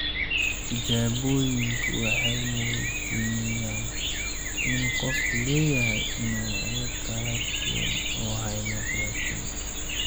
Tijaabooyinku waxay muujinayaan in qofku leeyahay noocyo kala duwan oo haemoglobin ah.